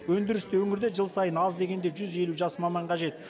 өндірісті өңірде жыл сайын аз дегенде жүз елу жас маман қажет